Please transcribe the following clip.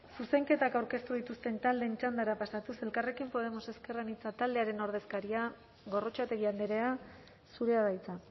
zuzenketak aurkeztu dituzten taldeen txandara pasatuz elkarrekin podemos ezker anitza taldearen ordezkaria gorrotxategi andrea zurea da hitza